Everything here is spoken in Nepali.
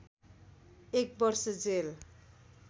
एक वर्ष जेल